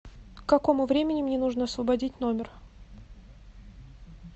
к какому времени мне нужно освободить номер